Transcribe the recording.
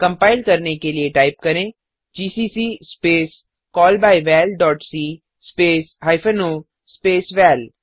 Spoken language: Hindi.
कंपाइल करने के लिए टाइप करें जीसीसी स्पेस callbyvalसी स्पेस हाइफेन ओ स्पेस वाल